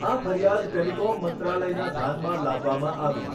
આ ફરિયાદ ટેલિકોમ મંત્રાલયના ધ્યાનમાં લાવવામાં આવી.